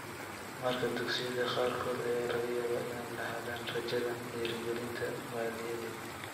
Markaa dugsiyada qaarkood ayaa laga yaabaa inay lahaadaan rajadan dhiirigelinta maaliyadeed.